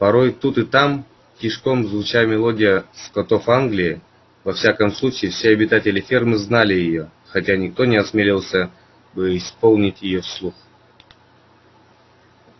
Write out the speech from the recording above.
порой тут и там тишком звучала мелодия скотов англии во всяком случае все обитатели фермы знали её хотя никто не осмелился бы исполнить её вслух